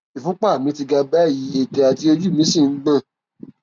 ìfúnpá mi ti ga báyìí ètè àti ojú mí sì ń gbọn